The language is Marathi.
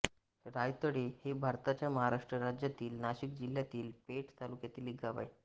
रायतळे हे भारताच्या महाराष्ट्र राज्यातील नाशिक जिल्ह्यातील पेठ तालुक्यातील एक गाव आहे